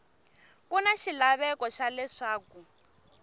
ku na xilaveko xa leswaku